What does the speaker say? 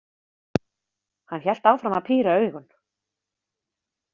Hann hélt áfram að píra augun.